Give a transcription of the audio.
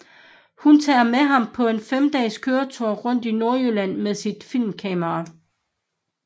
Hun tager med ham på en 5 dages køretur rundt i Nordjylland med sit filmkamera